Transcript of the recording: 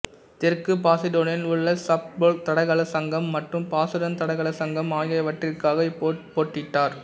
தெற்கு பாசுடனில் உள்ள சஃபோல்க் தடகள சங்கம் மற்றும் பாசுடன் தடகள சங்கம் ஆகியவற்றிற்காக இவர் போட்டியிட்டார்